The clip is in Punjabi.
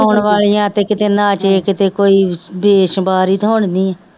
ਗਾਉਣ ਵਾਲੀਆਂ ਤੇ ਕਿਤੇ ਨਾਚ ਇਹ ਕਿਤੇ ਕੋਈ ਤੇ ਹੁਣ ਨਹੀਂ